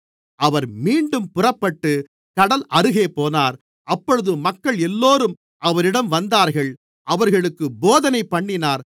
அவர் மீண்டும் புறப்பட்டுக் கடல் அருகே போனார் அப்பொழுது மக்கள் எல்லோரும் அவரிடம் வந்தார்கள் அவர்களுக்குப் போதனைப்பண்ணினார்